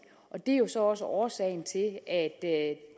og det er jo så også årsagen til at